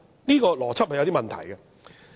這邏輯有點問題。